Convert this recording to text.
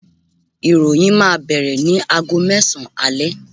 iroyin ma bere nì àgó mesan ale